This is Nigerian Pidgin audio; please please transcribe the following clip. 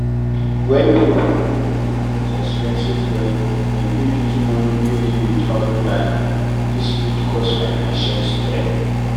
When pipo no fit manage expenses well dem fit use money wey dey without planning, this fit cause financial strain